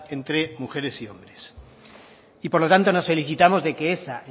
entre mujeres y hombres y por lo tanto nos felicitamos de que esa